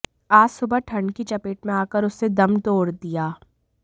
आज सुबह ठंड की चपेट में आकर उसने दम तोड़ दिया